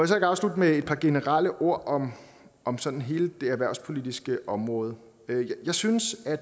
så ikke afslutte med et par generelle ord om om sådan hele det erhvervspolitiske område jeg synes at